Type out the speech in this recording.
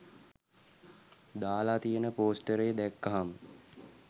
දාලා තියෙන පෝස්ටරේ දැක්කහම